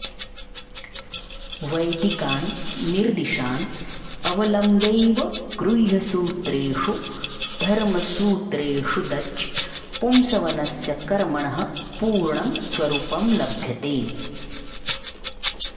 वैदिकान् निर्दिशान् अवलम्ब्यैव गृह्यसूत्रेषु धर्मसूत्रेषु द्च पुंसवनस्य कर्मणः पूर्णं स्वरुपं लभ्यते